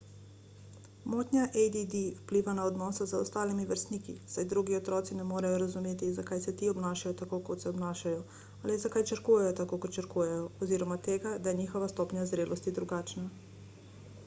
motnja add vpliva na odnose z ostalimi vrstniki saj drugi otroci ne morejo razumeti zakaj se ti obnašajo tako kot se obnašajo ali zakaj črkujejo tako kot črkujejo oziroma tega da je njihova stopnja zrelosti drugačna